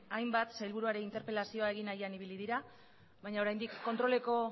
hainbat sailburuari interpelazioa egin nahian ibili dira baina oraindik kontroleko